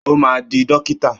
Ó máa di dókítà.